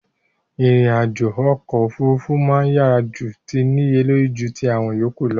Ìrìn àjò okò òfurufú ma n yá ju ti níye lóró ju ti àwon yòkúù lo